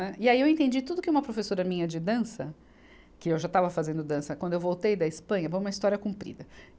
Né. E aí eu entendi tudo que uma professora minha de dança, que eu já estava fazendo dança, quando eu voltei da Espanha, bom é uma história comprida.